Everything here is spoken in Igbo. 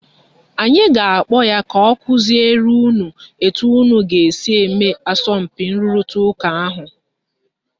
Anyị ga-akpọ ya ka ọ kụziere unu etu unu ga - esi mee asọmpi nrụrịta ụka ahụ